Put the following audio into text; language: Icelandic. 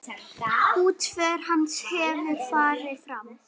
Útför hans hefur farið fram.